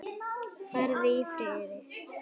Farðu í friði.